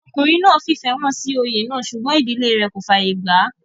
ọkùnrin náà fìfẹ́ hàn sí oyè náà sùgbọ́n ìdílé rẹ̀ kò fàyè gbà á